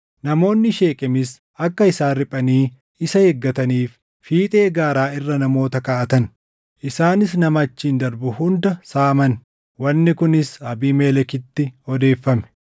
Namoonni Sheekemis akka isaan riphanii isa eegataniif fiixee gaaraa irra namoota kaaʼatan; isaanis nama achiin darbu hunda saamaan; wanni kunis Abiimelekitti odeeffame.